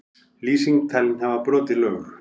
Lýsing talin hafa brotið lög